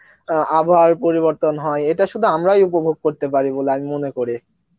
অ্যাঁ আবহাওয়ার পরিবর্তন হয় ইটা সুধু আমরাই উপভোগ করতে পারি বলে আমি মনে করি